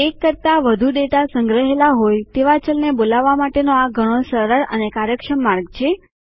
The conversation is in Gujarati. એક કરતા વધુ ડેટા સંગ્રહેલા હોય તેવા ચલ ને બોલાવવા માટેનો આ ઘણો સરળ અને કાર્યક્ષમ માર્ગ છે